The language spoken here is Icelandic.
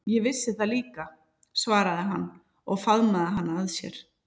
Ég vissi það líka, svaraði hann og faðmaði hana að sér.